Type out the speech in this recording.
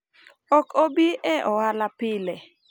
ok obi e ohala pile